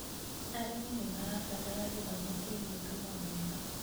Arĩmi nĩmarabatara gĩthomo kĩgiĩ thumu mwega